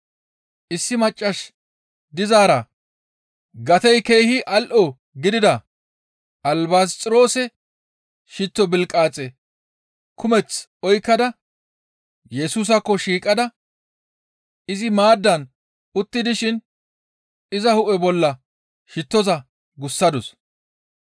issi maccas dizaara gatey keehi al7o gidida albasxiroose shitto bilqaaxe kumeth oykkada Yesusaakko shiiqada izi maaddan utti dishin iza hu7e bolla shittoza gussadus.